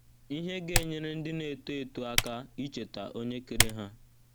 Ihe Ga - enyere Ndị Na - eto Eto Aka Icheta Onye Kere Ha